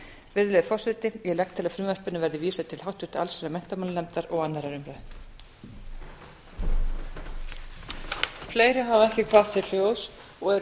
virðulegi forseti ég legg til að frumvarpinu verði vísað til háttvirtrar allsherjar og menntamálanefndar og annarrar umræðu